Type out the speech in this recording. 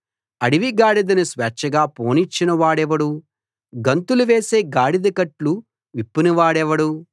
అడవి గాడిదను స్వేచ్ఛగా పోనిచ్చిన వాడెవడు గంతులు వేసే గాడిద కట్లు విప్పిన వాడెవడు